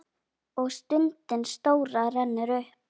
Og stundin stóra rennur upp.